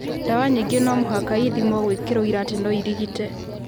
Ndawa nyingĩ nomũhaka ithimwo gwĩkĩra ũira atĩ noirigite